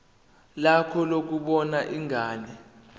lakho lokubona ingane